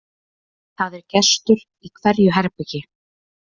Það er gestur í hverju herbergi.